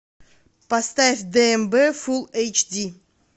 поставь дмб фул эйч ди